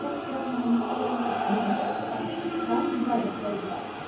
осы сұрақ маған инстаграмда да қойылды орамал таққызасыз ба деп қойды да